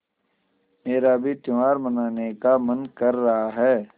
मेरा भी त्यौहार मनाने का मन कर रहा है